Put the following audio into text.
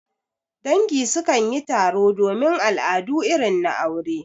Dangi su kan yi taro domin al'adu irin na aure.